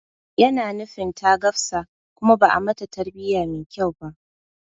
Yana nufin ta gafsa kuma ba'a mata tarbiya mai kyau ba